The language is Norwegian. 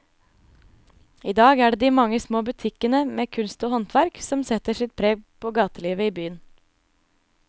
I dag er det de mange små butikkene med kunst og håndverk som setter sitt preg på gatelivet i byen.